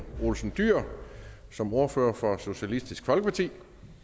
olsen dyhr som ordfører for socialistisk folkeparti